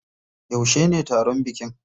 Yaushe ne taron bikin?